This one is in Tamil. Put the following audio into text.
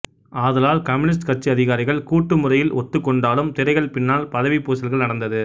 ஆதலால் கம்யூனிஸ்டு கட்சி அதிகாரிகள் கூட்டு முறையில் ஒத்துக் கொண்டாலும் திரைகள் பின்னால் பதவிப் பூசல்கள் நடந்தது